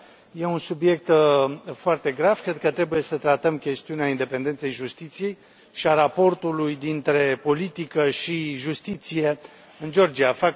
E un subiect foarte grav, cred că trebuie să tratăm chestiunea independenței justiției și a raportului dintre politică și justiție în Georgia.